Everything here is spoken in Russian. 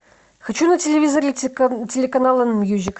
хочу на телевизоре телеканал мьюзик